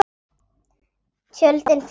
Tjöldin falla.